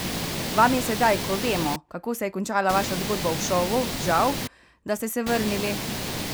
Vam je sedaj, ko vemo, kako se je končala vaša zgodba v šovu, žal, da ste vrnili?